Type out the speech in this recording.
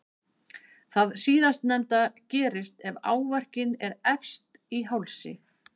Það síðastnefnda gerist ef áverkinn er efst í hálsi.